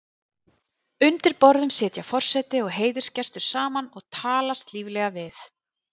Undir borðum sitja forseti og heiðursgestur saman og talast líflega við.